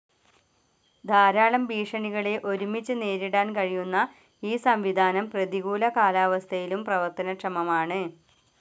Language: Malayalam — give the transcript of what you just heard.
ധാരാളം ഭീഷണികളെ ഒരുമിച്ച് നേരിടാൻ കഴിയുന്ന ഈ സംവിധാനം പ്രതികൂല കാലാവസ്ഥയിലും പ്രവർത്തനക്ഷമമാണ്